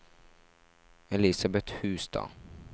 Elisabeth Hustad